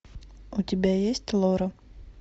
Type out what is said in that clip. у тебя есть лора